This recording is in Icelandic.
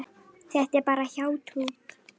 Þetta er bara hjátrú.